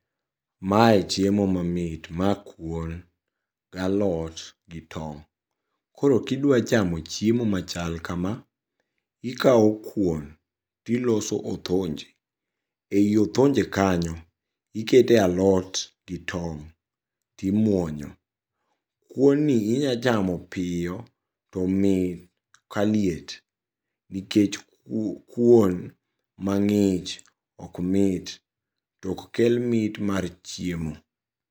Mae chiemo mamit, ma kuon galot gi tong'. Koro kidwa chamo chiemo machal kama. Ikao kuon tiloso othonje, ei othonje kanyo ikete alot gi tong' timuonyo. Kuon ni inyachamo piyo tomit ka liet nikech kuon mang'ich okmit, tok kel mit mar chiemo.